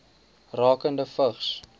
rakende vigs